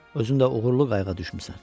Özün də uğurlu qayığa düşmüsən.